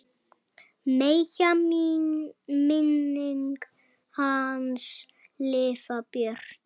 Megi minning hans lifa björt.